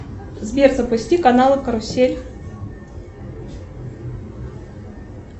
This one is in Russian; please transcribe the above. сбер запусти канал карусель